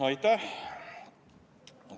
Aitäh!